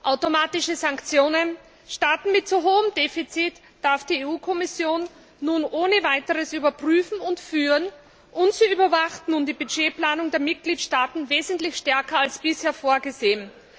Automatische Sanktionen Staaten mit zu hohem Defizit darf die EU Kommission nun ohne weiteres überprüfen und führen, und sie überwacht nun die Budgetplanung der Mitgliedstaaten wesentlich stärker als bisher vorgesehen.